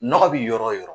Nɔgɔ bi yɔrɔ o yɔrɔ